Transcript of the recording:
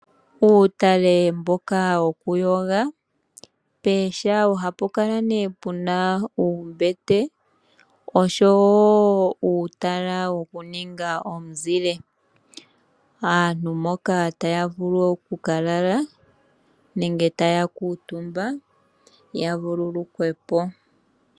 Uutale mboka wokuyoga pooha ohapu kala nee puna uumbete osho wo uutala wokuninga omuzile. Aantu mpoka taya vulu oku ka lala ya vululukwe po.